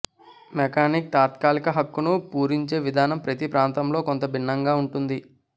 mechanic తాత్కాలిక హక్కును పూరించే విధానం ప్రతి ప్రాంతంలో కొంత భిన్నంగా ఉంటుంది